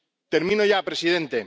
Termino ya, presidente.